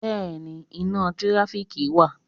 Bẹ́ẹ̀ni iná tíráfíkì wà.